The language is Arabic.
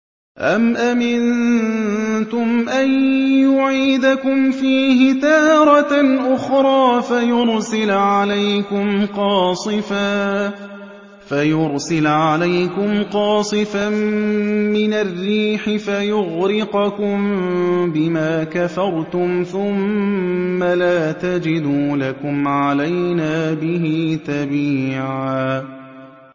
أَمْ أَمِنتُمْ أَن يُعِيدَكُمْ فِيهِ تَارَةً أُخْرَىٰ فَيُرْسِلَ عَلَيْكُمْ قَاصِفًا مِّنَ الرِّيحِ فَيُغْرِقَكُم بِمَا كَفَرْتُمْ ۙ ثُمَّ لَا تَجِدُوا لَكُمْ عَلَيْنَا بِهِ تَبِيعًا